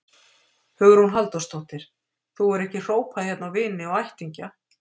Hugrún Halldórsdóttir: Þú hefur ekki hrópað hérna á vini og ættingja?